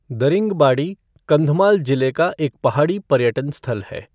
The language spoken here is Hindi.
दरिंगबाड़ी कंधमाल जिले का एक पहाड़ी पर्यटन स्थल है।